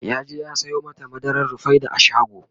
yaje ya Sayo mata madarar rufaida a shago